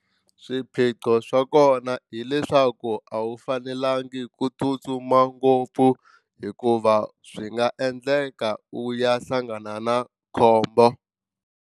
Swiphiqo swa kona hileswaku a wu fanelanga ku tsutsuma ngopfu hikuva swi nga endleka u ya hlangana na khombo.